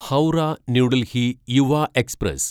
Howrah New Delhi Yuva express